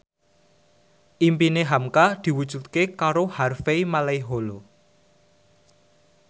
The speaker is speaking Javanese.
impine hamka diwujudke karo Harvey Malaiholo